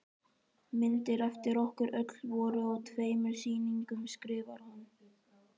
Myndir eftir okkur öll voru á tveimur sýningum skrifar hún.